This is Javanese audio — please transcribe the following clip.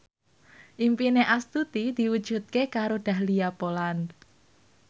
impine Astuti diwujudke karo Dahlia Poland